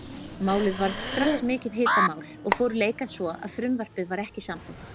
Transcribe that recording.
Málið varð strax mikið hitamál og fóru leikar svo að frumvarpið var ekki samþykkt.